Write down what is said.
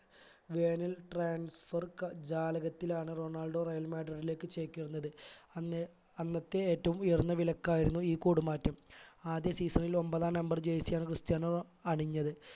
വേനൽ transfer ക ജാലകത്തിലാണ് റൊണാൾഡോ real മാഡ്രിഡിലേക്ക് ചേക്കേറുന്നത് അന്ന് അന്നത്തെ ഏറ്റവും ഉയർന്ന വിലക്കയായിരുന്നു ഈ കൂട് മാറ്റം ആദ്യ season ൽ ഒൻപതാം number jersey ആണ് ക്രിസ്ത്യാനോ അണിഞ്ഞത്